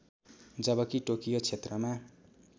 जबकि टोकियो क्षेत्रमा